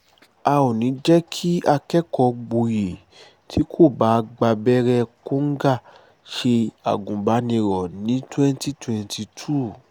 a ò ní í jẹ́ kí akẹ́kọ̀ọ́-gboyè tí kò bá gbàbẹ̀rẹ̀ kóńgá ṣe agùnbánirò ní twenty twenty two